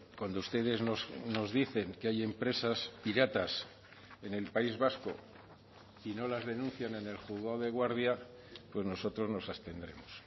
cuando ustedes nos dicen que hay empresas piratas en el país vasco y no las denuncian en el juzgado de guardia pues nosotros nos abstendremos